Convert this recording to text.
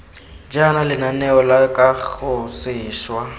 jaana lenaneo la kago seswa